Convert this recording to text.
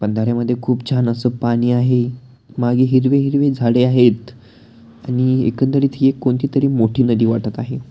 बंधाऱ्या मधे खुप छान अस पाणी आहे मागे हिरवी हिरवी झाडे आहेत आणि एकंदरीत हि एक कोणती तरी मोठी नदी वाटत आहे.